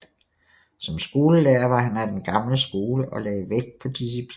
Som skolelærer var han af den gamle skole og lagde vægt på disciplin